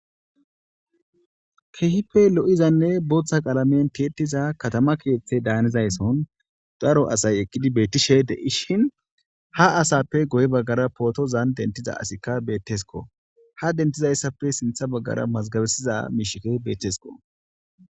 kehipe lo7izanne booththa qalamen teettiza katama keeththe daanizaysson daro asay eqqidi beettishe de7ishin ha asappe goy baggara pootozan dentiza asikka bettesko ha dentizayssapfe sintha baggara mazgabesiza miishike beetesko